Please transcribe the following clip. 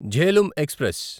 Jhelum express